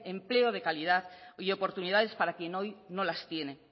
empleo de calidad y oportunidades para quien hoy no las tiene